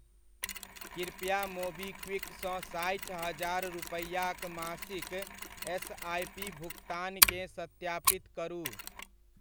कृपया मोबीक्विक सँ साठि हजार रुपैआक मासिक एसआइपी भुगतानकेँ सत्यापित करू